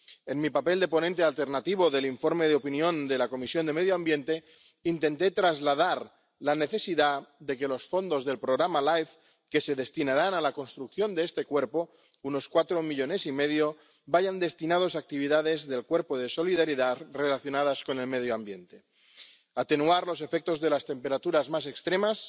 En mi papel de ponente alternativo del informe de opinión de la Comisión de Medio Ambiente intenté trasladar la necesidad de que los fondos del programa LIFE, que se destinarán a la construcción de este Cuerpo —unos cuatro millones y medio— vayan destinados a actividades del Cuerpo de Solidaridad relacionadas con el medio ambiente. Atenuar los efectos de las temperaturas más extremas,